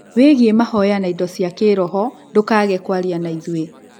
wĩgie mahoya na indo cia kĩroho, ndũkage kũaria na ithuĩ.